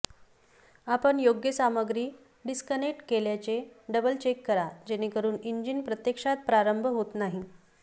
आपण योग्य सामग्री डिस्कनेक्ट केल्याचे डबल चेक करा जेणेकरून इंजिन प्रत्यक्षात प्रारंभ होत नाही